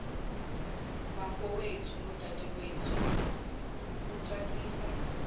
bafowethu nodadewethu kucacisa